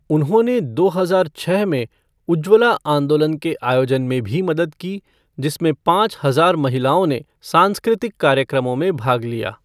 उन्होंने दो हजार छः में उज्ज्वला आंदोलन के आयोजन में भी मदद की, जिसमें पाँच हजार महिलाओं ने सांस्कृतिक कार्यक्रमों में भाग लिया।